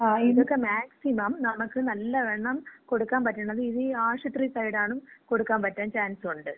ഇതൊക്കെ മാക്സിമം നമുക്ക് നല്ലവണ്ണം കൊടുക്കാൻ പറ്റണത് ഇതീ ആശൂത്രി സൈഡാണ് കൊടുക്കാമ്പറ്റാൻ ചാൻസൊണ്ട്.